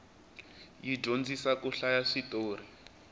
yi dyondzisa ku hlaya switorhi